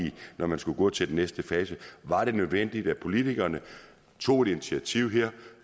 når man skulle gå til den næste fase var det nødvendigt at vi politikere tog et initiativ her